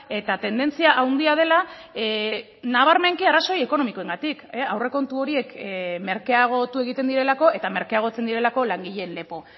eta tendentzia handia dela nabarmenki arrazoi ekonomikoengatik aurrekontu horiek merkeagotu egiten direlako eta merkeagotzen direlako langileen lepo